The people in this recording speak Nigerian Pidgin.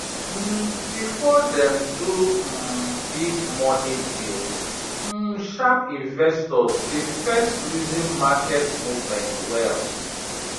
um before dem do um big money deal um sharp investors dey first reason market movement well